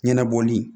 Ɲɛnabɔli